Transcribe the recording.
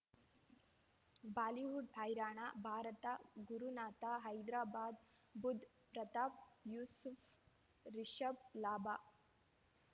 Bollywood ಹೈರಾಣ ಭಾರತ ಗುರುನಾಥ ಹೈದರಾಬಾದ್ ಬುಧ್ ಪ್ರತಾಪ್ ಯೂಸುಫ್ ರಿಷಬ್ ಲಾಭ